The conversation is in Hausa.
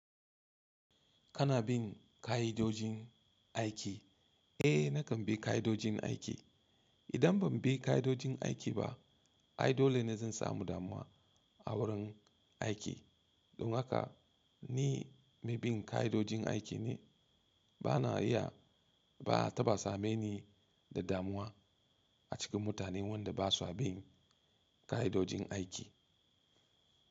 Kana bin ka'idojin aiki? Eh, nakan bi ka'idojin aiki. Idan ban bi ka'idojin aiki ba, ai dole ne zan samu damuwa a wurin aiki. Don haka ni mai bin ka'idojin aiki ne. Bana iya ba ta ba same ni da damuwa a cikin mutanen wanda ba sua bin ka'idojin aiki.